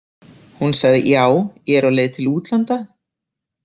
Hún sagði: Já, ég er á leið til útlanda.